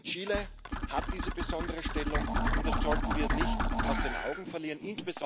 Chile hat diese besondere Stellung, und das sollten wir nicht aus den Augen verlieren.